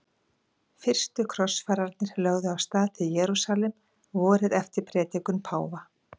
Fyrstu krossfararnir lögðu af stað til Jerúsalem vorið eftir predikun páfa.